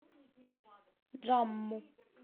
джамму